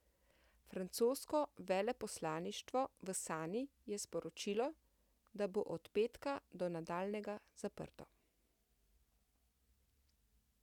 Francosko veleposlaništvo v Sani je sporočilo, da bo od petka do nadaljnjega zaprto.